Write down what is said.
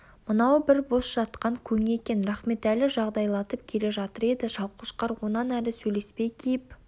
мынау бір бос жатқан көң екен рахметәлі жағдайлатып келе жатыр еді шалқошқар онан ары сөйлеспей киіп